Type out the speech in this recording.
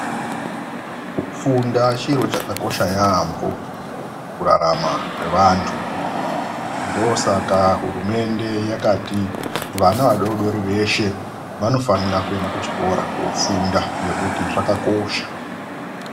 Kufunda chiro chakakosha yaamho mukurarama kwevantu. Ndoosaka hurumende yakati vana vadoodori veshe vanofanira kuenda kuchikora koofunda ngekuti zvakakosha.